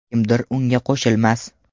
Kimdir unga qo‘shilmas.